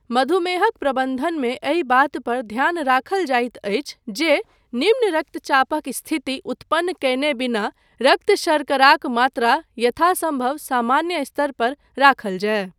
मधुमेहक प्रबन्धनमे एहि बात पर ध्यान राखल जाइत अछि जे निम्न रक्तचापक स्थिति उत्पन्न कयने बिना रक्त शर्कराक मात्रा यथासम्भव सामान्य स्तर पर राखल जाय।